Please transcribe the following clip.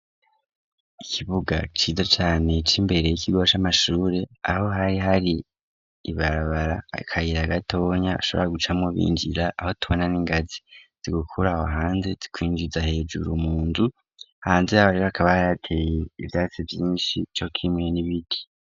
Ikibuga ciza cane c' imbere y'ikigo c'amashure, aho hari har'ibarabara, akayira gatonya bashobora gucamwo binjira, aho tubona n'ingazi zigukura aho hanze zikwinjiza hejuru mu nzu, hanze y'aho rero hakaba hari hateye ivyatsi yinshi co kimwe n'ibiti.